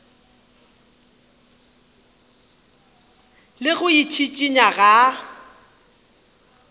le go itšhišinya ga a